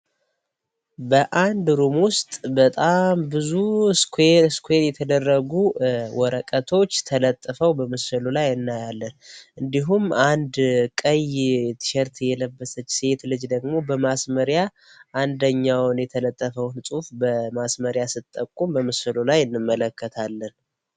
በአንድ እሩም ውስጥ በጣም ብዙ የተለጠፉ እስኮየር እስኮየር የተደረጉ ወረቀቶች ተለጥፈው በምስሉ ላይ ያለን እንዲሁም 1 ቀይ የተሸጥ የለበሰች ሴት ደግሞ አንደኛውን የተለጠፈውን ምስል በማስመያ ስትጠቁም በምስሉ ላይ እንመለከታለን።